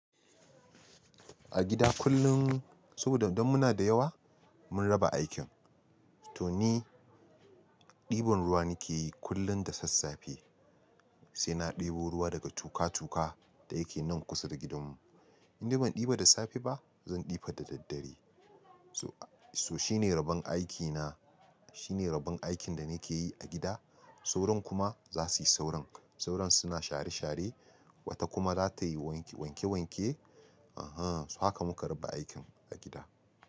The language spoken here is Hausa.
A gida kullum, sabida dan muna da yawa, mun raba aikin. To ni, ɗiban ruwa nake yi kullum da sassafe, sai na ɗebo ruwa daga tuƙa-tuƙa da yake nan kusa da gidanmu. Indai ban ɗiba da safe ba, zan ɗiba da daddare. To shine rabon aikina, shine rabon aikin da nake yi a gida. Sauran kuma za suyi sauran. Sauran suna share-share, wata kuma za ta yi wanke-wanke. Ehn, haka muka raba aikin a gida.